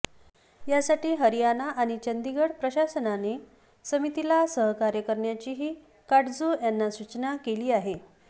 यासाठी हरियाना आणि चंदिगड प्रशासनाने समितीला सहकार्य करण्याचीही काटजू यांनी सूचना केली आहे